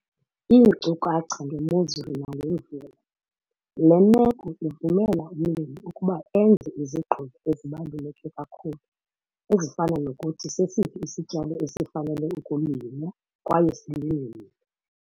Iinkcukacha ngemozulu nangemvula- Le meko ivumela umlimi ukuba enze izigqibo ezibaluleke kakhulu ezifana nokuthi sesiphi isityalo esifanele ukulinywa kwaye silinywe nini.